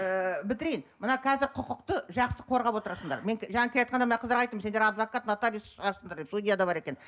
ыыы бітірейін мына қазір құқықты жақсы қорғап отырасыңдар мен к жаңа келеатқанда мына қаздарға айттым сендер адвокат нотариус шығарсыңдар деп судья да бар екен